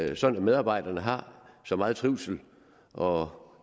det sådan at medarbejderne har så meget trivsel og